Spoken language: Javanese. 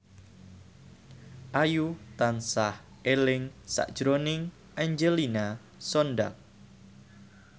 Ayu tansah eling sakjroning Angelina Sondakh